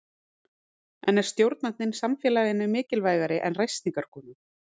En er stjórnandinn samfélaginu mikilvægari en ræstingakonan?